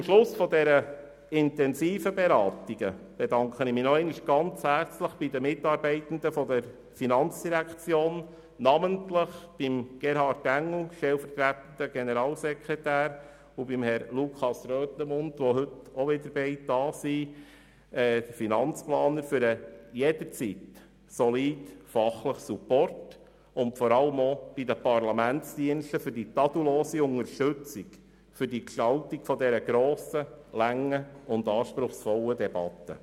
Zum Schluss dieser intensiven Beratungen bedanke ich mich noch einmal ganz herzlich bei den Mitarbeitenden der FIN, namentlich bei Herrn Gerhard Engel, stellvertretender Generalsekretär, und bei Herrn Lukas Röthenmund, Leiter Abteilung Finanzplanung – beide sind heute wieder anwesend – für den jederzeit soliden fachlichen Support, und vor allem auch den Parlamentsdiensten für die tadellose Unterstützung bei der Gestaltung dieser grossen, langen und anspruchsvollen Debatte.